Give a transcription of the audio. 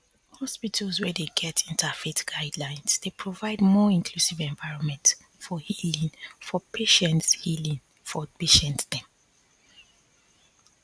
hospitals wey dey get interfaith guidelines dey provide more inclusive environment for healing for patients healing for patients dem